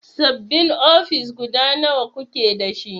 Sabin ofis guda nawa kuke dashi?